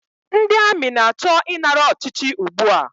Ndị amị na-achọ ịnara ọchịchị ugbua